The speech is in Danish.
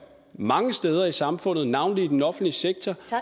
mange steder i samfundet navnlig i den offentlige sektor